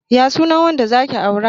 Ya sunan wanda zaki aura?